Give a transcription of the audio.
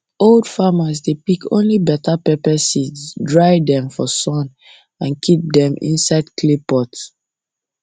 old farmers dey pick only better pepper seeds dry them for sun and keep them inside clay pot